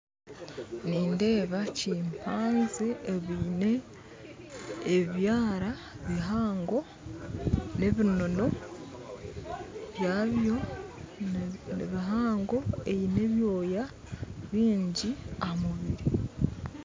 Nindeeba chimpanzee eine ebyaara bihango n'ebinoono byabyo nibihango eine ebyooya bingi aha mubiiri